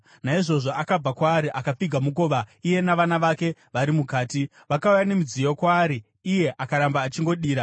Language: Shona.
Naizvozvo akabva kwaari, akapfiga mukova iye navana vake vari mukati. Vakauya nemidziyo kwaari, iye akaramba achingodira.